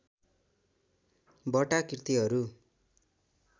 वटा कृतिहरू